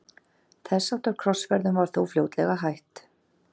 Þess háttar krossferðum var þó fljótlega hætt.